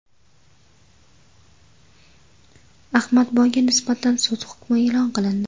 Ahmadboyga nisbatan sud hukmi e’lon qilindi.